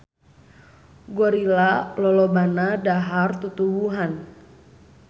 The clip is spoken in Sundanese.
Gorila lolobana dahar tutuwuhan.